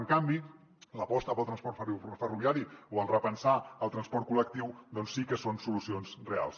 en canvi l’aposta pel transport ferroviari o el repensar el transport col·lectiu doncs sí que són solucions reals